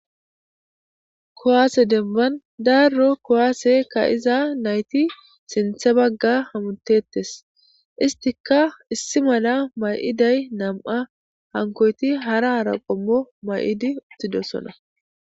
Kowaase demban daaro kowaase ka iza nayti sinthe bagga hamutettes istika issi mala may7iday nam7a hankoyti hara hara qommo may7idi uttidosona.